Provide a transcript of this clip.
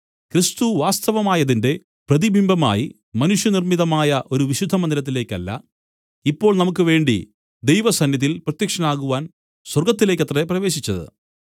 ക്രിസ്തു വാസ്തവമായതിന്റെ പ്രതിബിംബമായി മനുഷ്യനിർമ്മിതമായ ഒരു വിശുദ്ധ മന്ദിരത്തിലേക്കല്ല ഇപ്പോൾ നമുക്കുവേണ്ടി ദൈവസന്നിധിയിൽ പ്രത്യക്ഷനാകുവാൻ സ്വർഗ്ഗത്തിലേക്കത്രേ പ്രവേശിച്ചത്